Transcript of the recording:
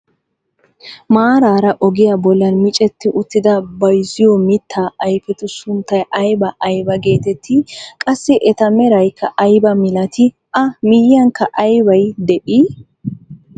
Maaraara ogiyaa bollan micetti uttida bayziyoo mittaa ayfetu sunttay aybaa aybaa getettii? Qassi eta meraykka aybaa milatii? A miyiyaanikka aybay de'ii?